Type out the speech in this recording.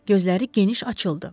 Gözləri geniş açıldı.